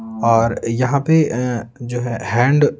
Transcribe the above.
और यहां पे-ए जो है हैंड --